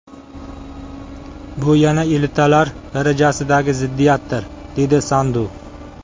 Bu yana elitalar darajasidagi ziddiyatdir”, dedi Sandu.